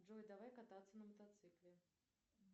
джой давай кататься на мотоцикле